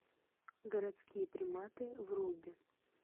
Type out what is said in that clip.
городские приматы вруби